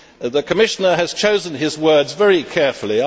The Commissioner has chosen his words very carefully.